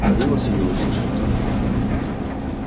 голос её услышать только